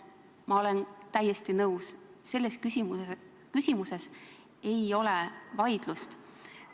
Ma olen täiesti nõus, selles küsimuses ei ole vaidlust.